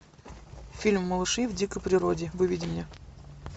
фильм малыши в дикой природе выведи мне